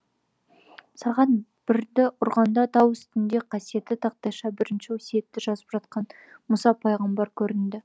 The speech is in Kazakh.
сағат бірді ұрғанда тау үстінде қасиетті тақтайша бірінші өсиетті жазып жатқан мұса пайғамбар көрінді